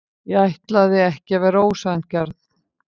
Ég ætlaði ekki að vera ósanngjarn.